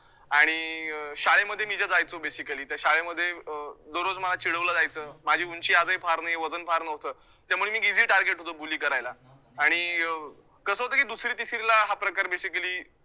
आणि अं शाळेमध्ये मी ज्या जायचो, basically तर शाळेमध्ये अं दररोज मला चिडवलं जायचं, माझी ऊंची आजही फार नाही, वजन फार नव्हते, त्यामुळे मी easy target होतो bully करायला आणि अं कसं होतं की दुसरी तिसरीला हा प्रकार basically